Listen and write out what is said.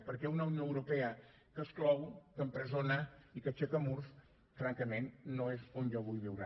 perquè una unió europea que exclou que empresona i que aixeca murs francament no és on jo vull viure